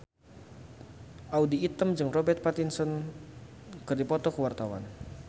Audy Item jeung Robert Pattinson keur dipoto ku wartawan